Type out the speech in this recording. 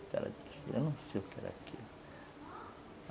O cara disse, eu não sei o que era aquilo.